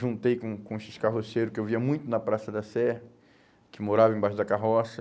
Juntei com com esses carroceiros que eu via muito na Praça da Sé, que moravam embaixo da carroça.